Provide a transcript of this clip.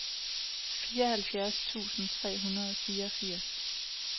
fireoghalvfjerds tusind fire hundrede og fireogfirs